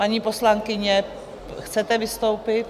Paní poslankyně, chcete vystoupit?